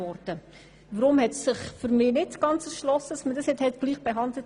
Weshalb man sie nicht gleichbehandelt hat, erschliesst sich mir nicht ganz.